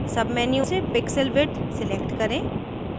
submenu से pixel width select करें